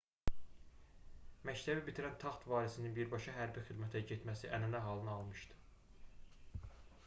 məktəbi bitirən taxt varisinin birbaşa hərbi xidmətə getməsi ənənə halını almışdı